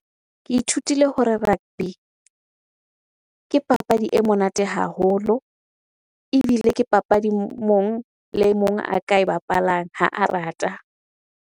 Ke ithutile hore rugby ke papadi e monate haholo ebile ke papadi mong le e mong a ka e bapalang ha a rata.